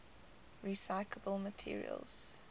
recyclable materials